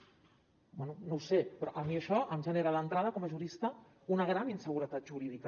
bé no ho sé però a mi això em genera d’entrada com a jurista una gran inseguretat jurídica